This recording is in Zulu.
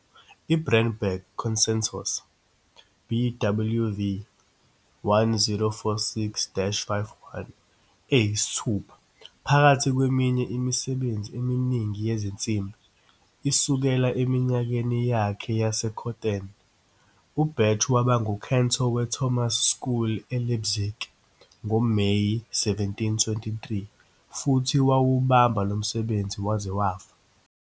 IBrandenburg Concertos, BWV 1046-51 eyisithupha, phakathi kweminye imisebenzi eminingi yezinsimbi, isukela eminyakeni yakhe yaseCothen. UBach waba nguKantor weThomas School eLeipzig ngoMeyi 1723 futhi wawubamba lo msebenzi waze wafa.